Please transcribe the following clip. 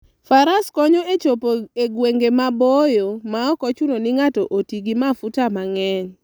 Faras konyo e chopo e gwenge maboyo maok ochuno ni ng'ato oti gi mafuta mang'eny.